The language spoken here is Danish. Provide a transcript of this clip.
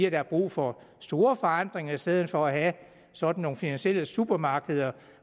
at der er brug for store forandringer i stedet for at have sådan nogle finansielle supermarkeder